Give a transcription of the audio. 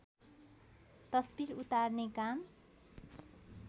तस्वीर उतार्ने काम